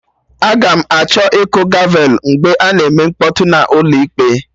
Aga m achọ ịkụ gavelụ mgbe a na-eme mkpọtụ n'ụlọ ịkpe